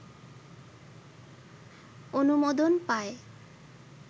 অনুমোদন পায়